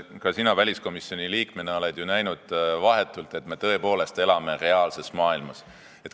Ka sina väliskomisjoni liikmena oled ju vahetult näinud, et me tõepoolest elame reaalses maailmas.